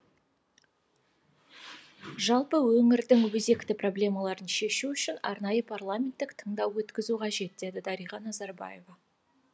жалпы өңірдің өзекті проблемаларын шешу үшін арнайы парламенттік тыңдау өткізу қажет деді дариға назарбаева